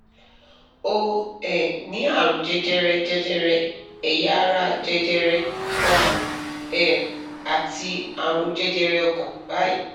ó um ní àrùn jẹjẹrẹ jẹjẹrẹ ẹ̀yà ara jẹjẹrẹ ọmú um àti àrùn jẹjẹrẹ ọkàn báyìí